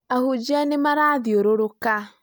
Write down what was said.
Ahũnjĩa nĩ marathiũrũrũka